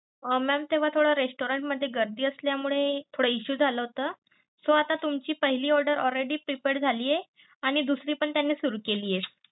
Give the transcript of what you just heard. Mam तेव्हा थोडा restaurant मध्ये गर्दी असल्यामुळे थोडा issue झाला होता, so आता तुम्हची पहिले order already prepared झाली आहे आणि दुसरी पण त्यांनी सुरु केली आहे.